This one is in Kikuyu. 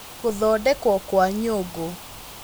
Gũthondekwo kwa Nyũngũ: